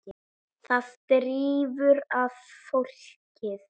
Það drífur að fólkið.